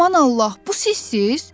Aman Allah, bu sizsiz?